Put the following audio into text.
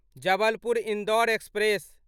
Jabalpur Indore express